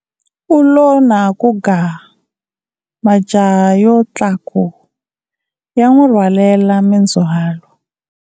U lo na ku ga, majaha yo tlaku, ya n'wi rhwalela mindzhwalo.